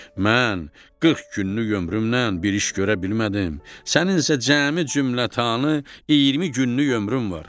Mən 40 günlük ömrümlə bir iş görə bilmədim, sənin isə cəmi cümlətanı 20 günlük ömrün var.